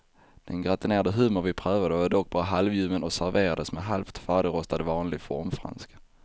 Den gratinerade hummer vi prövade var dock bara halvljummen och serverades med halvt färdigrostad vanlig formfranska.